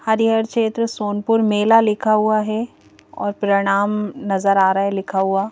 हरिहर क्षेत्र सोनपुर मेला लिखा हुआ है और प्रणाम नजर आ रहा है लिखा हुआ--